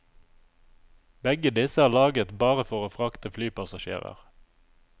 Begge disse er laget bare for å frakte flypassasjerer.